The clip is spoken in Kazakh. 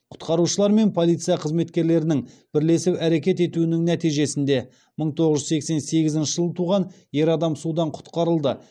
құтқарушылар мен полиция қызметкерлерінің бірлесіп әрекет етуінің нәтижесінде мың тоғыз жүз сексен сегізінші жылы туған ер адам судан құтқарылды